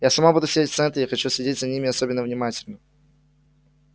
я сама буду сидеть в центре и хочу следить за ними особенно внимательно